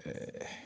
Ee